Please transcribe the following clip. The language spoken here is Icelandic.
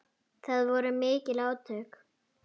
Það voru mikil átök.